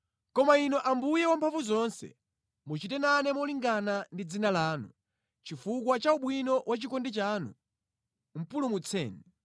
Koma Inu Ambuye Wamphamvuzonse, muchite nane molingana ndi dzina lanu, chifukwa cha ubwino wa chikondi chanu, pulumutseni.